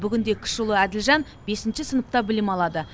бүгінде кіші ұлы әділжан бесінші сыныпта білім алады